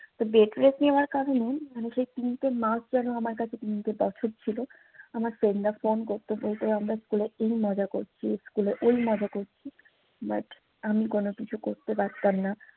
তো bed rest নেওয়ার কারনে মানি সে তিনটে মাস যেনো আমার কাছে তিনটে বছর ছিলো আমার ফ্রেন্ডরা ফোন করতো বলতো আমরা স্কুলে এই মজা করছি স্কুলে এই মজা করছি but আমি কোন কিছু করতে পারতাম নাহ